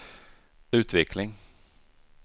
utveckling